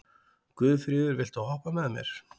Guðfríður, viltu hoppa með mér?